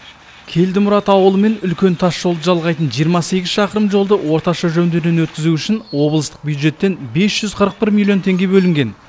келдімұрат ауылы мен үлкен тас жолды жалғайтын жиырма сегіз шақырым жолды орташа жөндеуден өткізу үшін облыстық бюджеттен бес жүз қырық бір миллион теңге бөлінген